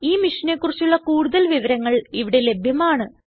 ഈ മിഷനെ കുറിച്ചുള്ള കുടുതൽ വിവരങ്ങൾ ഇവിടെ ലഭ്യമാണ്